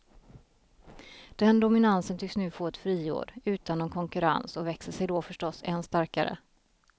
Den dominansen tycks nu få ett friår utan någon konkurrens och växer sig då förstås än starkare.